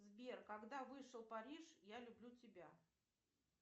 сбер когда вышел париж я люблю тебя